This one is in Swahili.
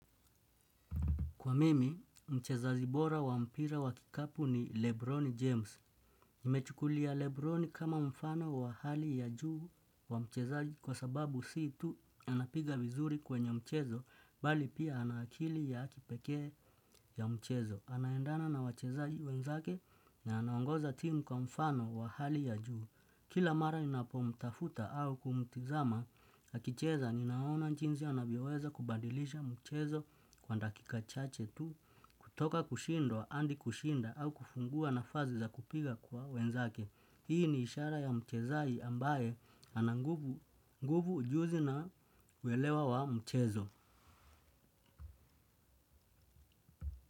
Kwa mimi, mchezazi bora wa mpira wa kikapu ni Lebroni James. Nimechukulia Lebroni kama mfano wa hali ya juu kwa mchezaji kwa sababu si tu anapiga vizuri kwenye mchezo, bali pia ana akili ya kipeke ya mchezo. Anaendana na wachezaji wenzake na anangoza timu kwa mfano wa hali ya juu. Kila mara ninapo mtafuta au kumtizama, akicheza ninaona jiinzi anavyo weza kubadilisha mchezo kwa ndakika chache tu. Kutoka kushindwa, andi kushinda au kufungua na fazi za kupiga kwa wenzake. Hii ni ishara ya mchezai ambaye anangubu nguvu ujuzi na kuelewa wa mchezo.